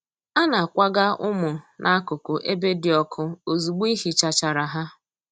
A na-akwaga ụmụ n'akụkụ ebe di ọkụ ozugbo ihichachara ha.